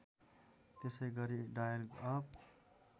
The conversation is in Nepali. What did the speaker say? त्यसैगरी डायल अप